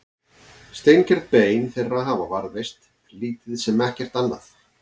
Steingerð bein þeirra hafa varðveist en lítið sem ekkert annað.